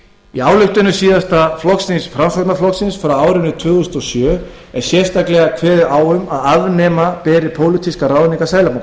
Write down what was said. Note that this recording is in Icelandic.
í ályktunum síðasta flokksþings framsóknarflokksins frá árinu tvö þúsund og sjö er sérstaklega kveðið á um að afnema beri pólitískar ráðningar seðlabankastjóra þá